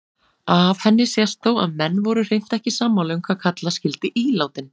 Af henni sést þó að menn voru hreint ekki sammála um hvað kalla skyldi ílátin.